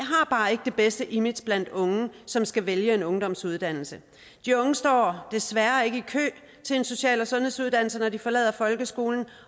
ikke det bedste image blandt unge som skal vælge en ungdomsuddannelse de unge står desværre ikke i kø til en social og sundhedsuddannelse når de forlader folkeskolen